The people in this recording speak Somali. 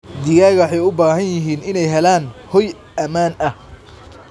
Digaagga waxay u baahan yihiin inay helaan hoy ammaan ah.